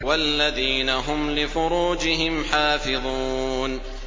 وَالَّذِينَ هُمْ لِفُرُوجِهِمْ حَافِظُونَ